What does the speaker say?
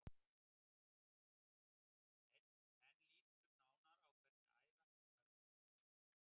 En lítum nánar á hvernig æðahnútar myndast.